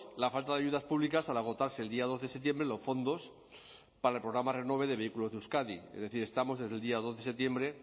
la falta de ayudas públicas al agotarse el día dos de septiembre los fondos para el programa renove de vehículos de euskadi es decir estamos desde el día dos de septiembre